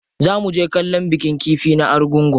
Za muje kallon bikin kifi na Argungu.